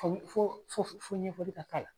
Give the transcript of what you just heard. Fo fo fo fo ɲɛfɔli ka k'a la